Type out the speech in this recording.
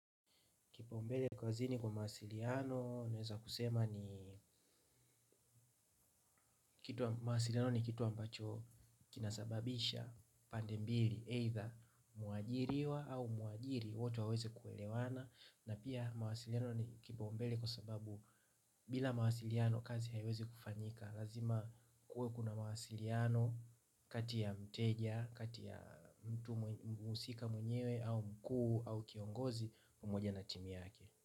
Kipaumbele kazini kwa mawasiliano, naweza kusema ni mawasiliano ni kitu ambacho kinasababisha pande mbili, aidha muajiriwa au muajiri, wote waweze kuelewana, na pia mawasiliano ni kipaumbele kwa sababu bila mawasiliano kazi haiweze kufanyika. Lazima kuwe kuna mawasiliano kati ya mteja, kati ya mtu muhusika mwenyewe au mkuu au kiongozi pamoja na timu yake.